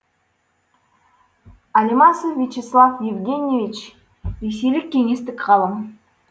алемасов вячеслав евгеньевич ресейлік кеңестік ғалым